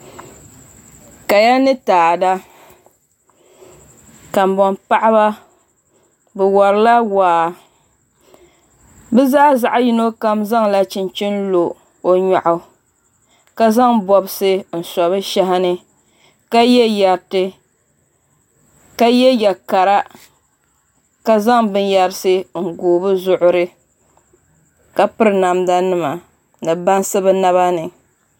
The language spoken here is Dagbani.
Kaya ni taada kanboŋ paɣaba bi worila waa bi zaa zaɣ yino kam zaŋla chinchin lo o nyoɣu ka zaŋ bobsi n so bi shahi ni ka yɛ yɛ kara ka zaŋ binyɛrisi n gooi bi zuɣuri ka piri namda nima ni bansi bi naba ni